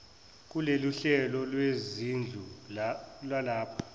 kuloluhlelo lwezindlu lwalapha